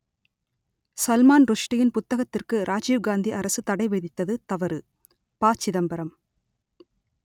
சல்மான் ருஷ்டியின் புத்தகத்திற்கு ராஜீவ் காந்தி அரசு தடை விதித்தது தவறு ப சிதம்பரம்